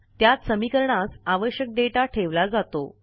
त्यात समीकरणास आवश्यक डेटा ठेवला जातो